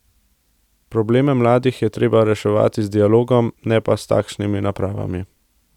Probleme mladih je treba reševati z dialogom, ne pa s takšnimi napravami.